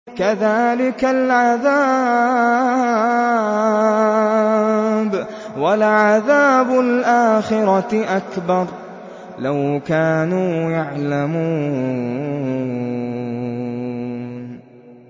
كَذَٰلِكَ الْعَذَابُ ۖ وَلَعَذَابُ الْآخِرَةِ أَكْبَرُ ۚ لَوْ كَانُوا يَعْلَمُونَ